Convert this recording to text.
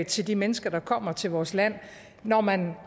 til de mennesker der kommer til vores land når man